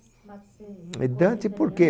e Dante porque